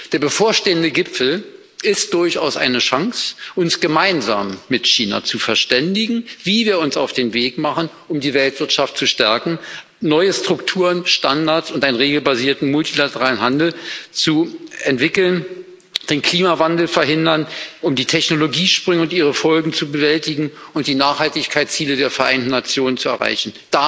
Der bevorstehende Gipfel ist durchaus eine Chance, uns gemeinsam mit China zu verständigen, wie wir uns auf den Weg machen, um die Weltwirtschaft zu stärken, neue Strukturen, Standards und einen regelbasierten multilateralen Handel zu entwickeln, den Klimawandel zu verhindern, die Technologiesprünge und ihre Folgen zu bewältigen und die Nachhaltigkeitsziele der Vereinten Nationen zu erreichen.